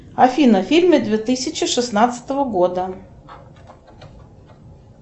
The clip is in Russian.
афина фильмы две тысячи шестнадцатого года